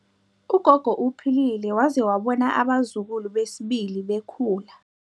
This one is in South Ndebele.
Ugogo uphilile waze wabona abazukulu besibili bekhula.